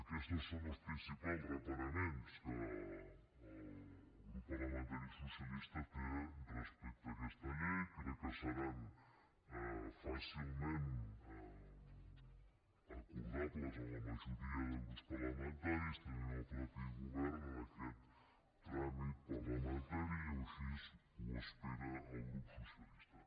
aquestos són els principals reparaments que el grup parlamentari socialista té respecte a aquesta llei crec que seran fàcilment acordables amb la majoria de grups parlamentaris també amb el mateix govern en aquest tràmit parlamentari o així ho espera el grup socialista